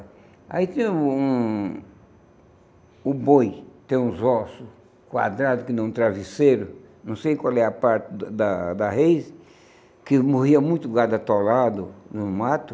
Aí tinha um o boi, tinha uns ossos quadrados, que nem um travesseiro, não sei qual era a parte da da reis, que morria muito gado atolado no mato.